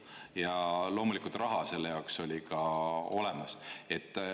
Ja loomulikult raha selle jaoks oli ka olemas.